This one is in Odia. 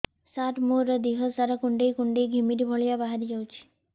ସାର ମୋର ଦିହ ସାରା କୁଣ୍ଡେଇ କୁଣ୍ଡେଇ ଘିମିରି ଭଳିଆ ବାହାରି ଯାଉଛି